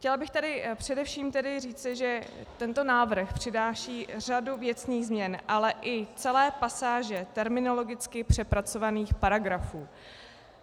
Chtěla bych tady především říci, že tento návrh přináší řadu věcných změn, ale i celé pasáže terminologicky přepracovaných paragrafů.